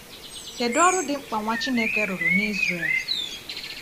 Kedu ọrụ dị mkpa Nwa Chineke rụrụ n’Israel?